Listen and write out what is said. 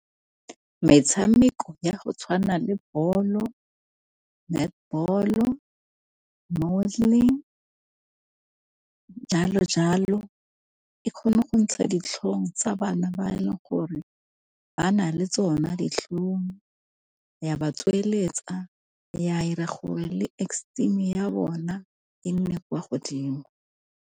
Metshameko ya go tshwana le bolo, netball-o, modelling jalo jalo, e kgona go ntsha ditlhong tsa bana ba e leng gore ba na le tsona ditlhong, ya ba tsweletsa, ya 'ira gore le esteem ya bona e nne kwa godimo.